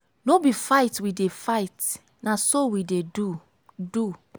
no be fight we dey fight na so we dey do. do.